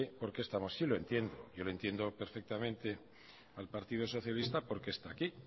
por qué sí lo entiendo yo le entiendo perfectamente al partido socialista por qué está aquí